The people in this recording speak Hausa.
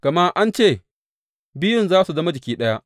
Gama an ce, Biyun za su zama jiki ɗaya.